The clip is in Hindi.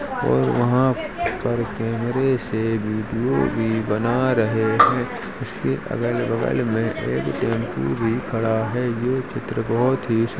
और वहाँ पर कैमरे से बीडियो भी बना रहे हैं। उसके अगल - बगल में एक टेम्पू भी खड़ा है। जो चित्र बहोत ही --